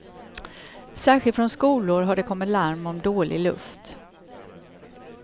Särskilt från skolor har det kommit larm om dålig luft.